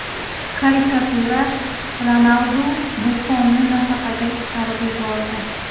Karikatura: Ronaldu Buffonni nafaqaga chiqarib yubordi .